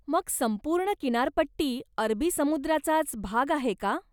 मग संपूर्ण किनारपट्टी अरबी समुद्राचाच भाग आहे का?